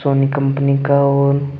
Soni company का और--